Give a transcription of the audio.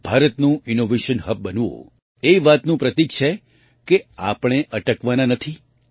ભારતનું innovation hub બનવું એ વાતનું પ્રતીક છે કે આપણે અટકવાના નથી